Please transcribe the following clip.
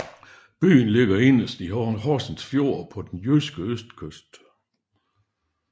Byen ligger inderst i Horsens Fjord på den jyske østkyst